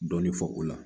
Dɔɔnin fɔ o la